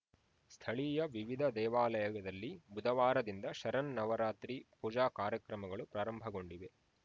ಸ್ಥಳೀಯ ವಿವಿಧ ದೇವಾಲಯದಲ್ಲಿ ಬುಧವಾರದಿಂದ ಶರನ್ನನವರಾತ್ರಿ ಪೂಜಾ ಕಾರ್ಯಕ್ರಮಗಳು ಪ್ರಾರಂಭಗೊಂಡಿವೆ